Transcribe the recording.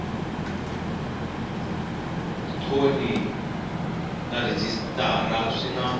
thoni na rhejisitara swi na